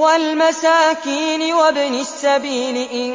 وَالْمَسَاكِينِ وَابْنِ السَّبِيلِ إِن